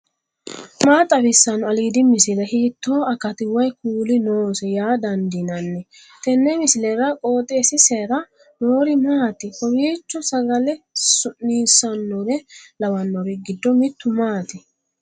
maa xawissanno aliidi misile ? hiitto akati woy kuuli noose yaa dandiinanni tenne misilera? qooxeessisera noori maati ? kowwiicho sagale su'niissannore lawannori giddo mittu maati